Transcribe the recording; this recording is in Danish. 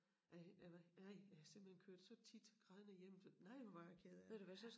Ej jeg var ej jeg har simpelthen kørt så tit grædende hjem så nej hvor var jeg ked af det